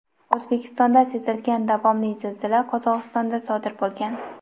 O‘zbekistonda sezilgan davomli zilzila Qozog‘istonda sodir bo‘lgan.